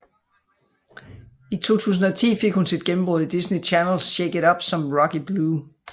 I 2010 fik hun sit gennembrud i Disney Channels Shake It Up som Rocky Blue